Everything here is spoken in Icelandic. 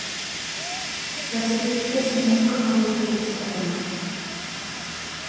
Þessar víddir sem engum hafði tekist að finna.